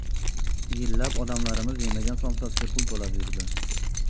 Yillab odamlarimiz yemagan somsasiga pul to‘lab yurdi.